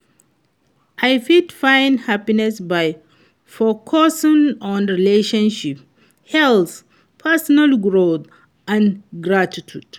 I fit find happiness by focusing on relationships, health, personal growth and gratitude.